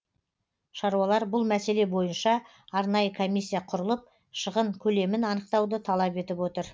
шаруалар бұл мәселе бойынша арнайы комиссия құрылып шығын көлемін анықтауды талап етіп отыр